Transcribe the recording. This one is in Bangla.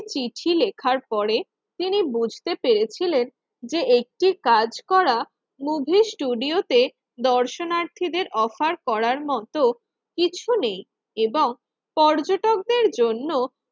চিঠি লেখার পরে তিনি বুঝতে পেরেছিলেন যে একটি কাজ করা মুভি ষ্টুডিও তে দর্শনার্থীদের অফার করার মত কিছু নেই এবং পর্যটকদের জন্য